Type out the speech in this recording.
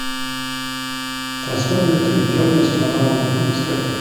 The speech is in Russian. трансформеры три темная сторона луны искать